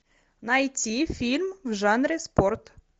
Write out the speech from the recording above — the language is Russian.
найти фильм в жанре спорт